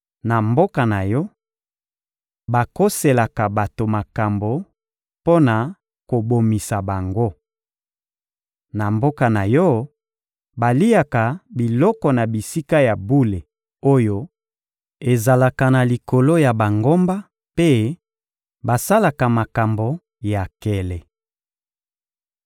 Na mboka na yo, bakoselaka bato makambo mpo na kobomisa bango. Na mboka na yo, baliaka biloko na bisika ya bule oyo ezalaka na likolo ya bangomba mpe basalaka makambo ya nkele.